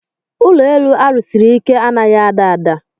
Ụlọ elu a rụsiri ike a naghị ada ada.